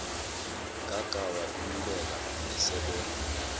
gaga wakhululeka esebona